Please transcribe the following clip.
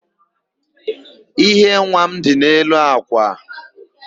íhé nwa m dị n'elu àkwà.